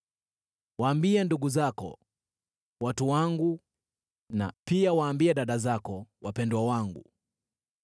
“Waambie ndugu zako, ‘Watu wangu,’ na pia waambie dada zako, ‘Wapendwa wangu.’